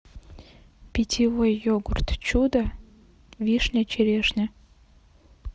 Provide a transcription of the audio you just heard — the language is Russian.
питьевой йогурт чудо вишня черешня